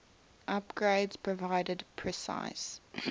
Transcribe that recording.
upgrades provided precise